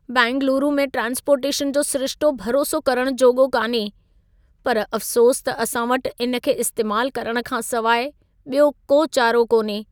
बैंगलूरू में ट्रांस्पोर्टेशन जो सिरिशितो भरोसो करण जोॻो कान्हे। पर अफ़्सोस त असां वटि इन खे इस्तेमाल करण खां सवाइ ॿियो को चारो कोन्हे।